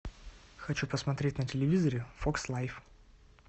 хочу посмотреть на телевизоре фокс лайф